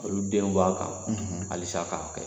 Olu denw b'a kan halisa k'a kɛ.